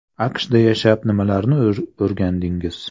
AQShda yashab nimalarni o‘rgandingiz.